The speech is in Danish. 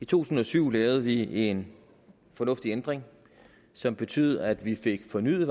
tusind og syv lavede vi en fornuftig ændring som betød at vi fik fornyet